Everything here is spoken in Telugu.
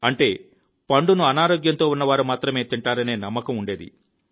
అంటే పండును అనారోగ్యంతో ఉన్నవారు మాత్రమే తింటారనే నమ్మకం ఉండేది